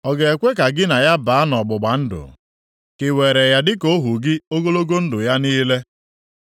Ọ ga-ekwe ka gị na ya baa nʼọgbụgba ndụ ka i were ya dịka ohu gị ogologo ndụ ya niile?